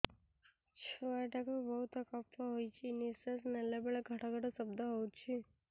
ଛୁଆ ଟା କୁ ବହୁତ କଫ ହୋଇଛି ନିଶ୍ୱାସ ନେଲା ବେଳେ ଘଡ ଘଡ ଶବ୍ଦ ହଉଛି